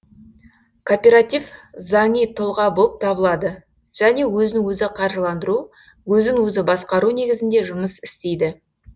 кооператив заңи тұлға болып табылады және өзін өзі қаржыландыру өзін өзі басқару негізінде жұмыс істейді